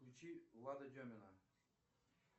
включи лада демина